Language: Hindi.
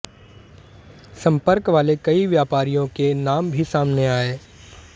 संपर्क वाले कई व्यापारियों के नाम भी सामने आए